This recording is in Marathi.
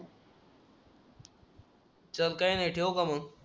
चल काय नाही ठेवू का मग